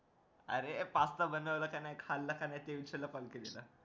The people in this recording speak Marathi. अरे पास्ता बनवलेला का नाही खाला का नाही ते विचारायला call केलेला